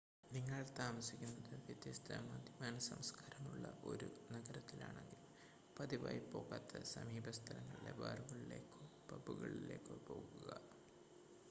നിങ്ങൾ താമസിക്കുന്നത് വ്യത്യസ്ത മദ്യപാന സംസ്കാരമുള്ള ഒരു നഗരത്തിലാണെങ്കിൽ പതിവായി പോകാത്ത സമീപ സ്ഥലങ്ങളിലെ ബാറുകളിലേക്കോ പബുകളിലേക്കോ പോകുക